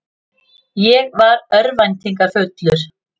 Ég var örvæntingarfullur.